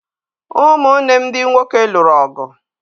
Ụmụnne m ndị nwoke lụrụ ọgụ